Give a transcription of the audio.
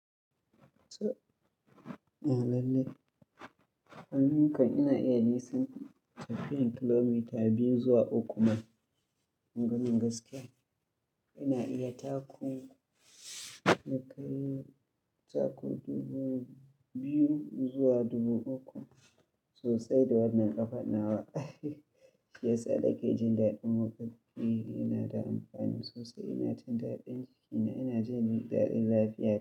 So ina lallai, ai ni kan ina iya nisan tafiyan kilomita biyu zuwa uku ma. Maganar gaskiya ina iya taku, ni kai taku dubu biyu zuwa dubu uku. Sosai da wannan ƙafan nawa. Shiyasa nake jin daɗin motsa jiki yana da amfani sosai, ina jin daɗin jiki na ina jin daɗin lafiya.